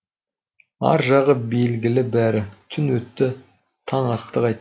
ар жағы белгілі бәрі түн өтті таң атты қайта